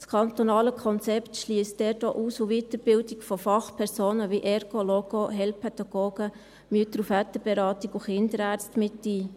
Das kantonale Konzept schliesst dort auch Aus- und Weiterbildung von Fachpersonen wie Ergo, Logo, Heilpädagogen, Mütter- und Väterberatung und Kinderärzte mit ein.